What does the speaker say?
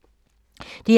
DR1